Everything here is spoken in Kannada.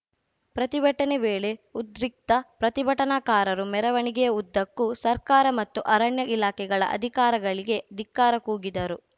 ಪ್ರತಿಭಟನೆ ವೇಳೆ ಉದ್ರಿಕ್ತ ಪ್ರತಿಭಟನಾಕಾರರು ಮೆರವಣಿಗೆಯ ಉದ್ದಕ್ಕೂ ಸರ್ಕಾರ ಮತ್ತು ಅರಣ್ಯ ಇಲಾಖೆಗಳ ಅಧಿಕಾರಗಳಿಗೆ ಧಿಕ್ಕಾರ ಕೂಗಿದರು